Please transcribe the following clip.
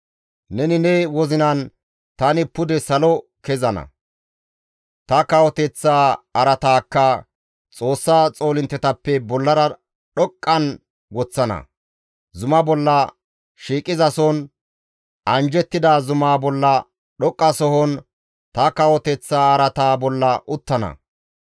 Neni ne wozinan, «Tani pude salo kezana; ta kawoteththaa araataakka Xoossaa xoolinttetappe bollara dhoqqan woththana; zuma bolla shiiqizason anjjettida zumaa bolla dhoqqasohon ta kawoteththa araata bolla uttana.